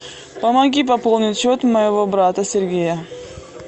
помоги пополнить счет моего брата сергея